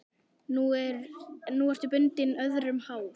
Nú ertu bundin, öðrum háð.